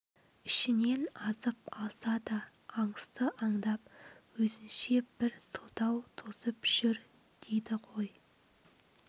ішінен азып алса да аңысты андап өзінше бір сылтау тосып жүр дейді ғой